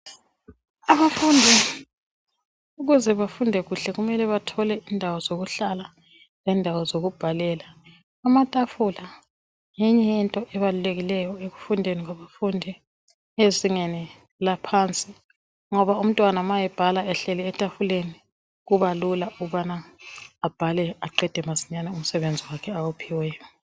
Abafundi ukuze befunde kuhle kumele bethole izindawo zokuhlala lendawo zokubhalela. Amatafula ngenye yento ebalulekileyo ekufundeni kwabafundi ezingeni laphansi ngoba umntwana ma ebhala ehleli etafuleni kuba lula abhale aqede masinyane umsebenzi wakhe ophiweyo.